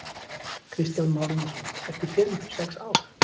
Kristján Már Unnarsson: Eftir fimm sex ár?